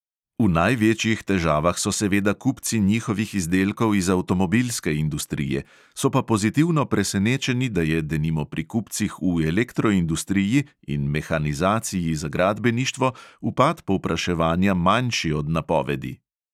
V največjih težavah so seveda kupci njihovih izdelkov iz avtomobilske industrije, so pa pozitivno presenečeni, da je denimo pri kupcih v elektroindustriji in mehanizaciji za gradbeništvo upad povpraševanja manjši od napovedi.